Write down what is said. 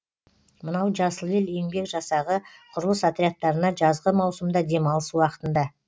мынау жасыл ел еңбек жасағы құрылыс отрядтарына жазғы маусымда демалыс уақытында